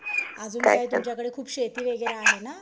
अजून काय तुमच्याकडे खूप शेती वगैरे आहे ना?